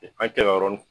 An kɛlɔrɔnin